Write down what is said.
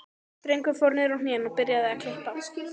Drengurinn fór niður á hnén og byrjaði að klippa.